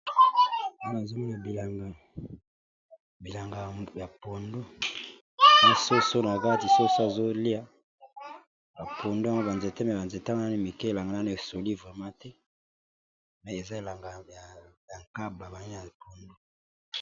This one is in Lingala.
Wana tozomona eza bilanga ya pondu. Ba bazolia na kati ya bilanga ya pondu, yango banzete misusu na bakasa misusu ya pondu eza ya kokauka muke.